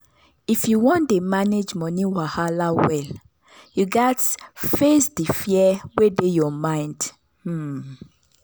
if you wan dey manage money wahala well you gats face di fear wey dey your mind. um